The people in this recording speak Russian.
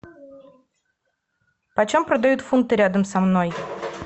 почем продают фунты рядом со мной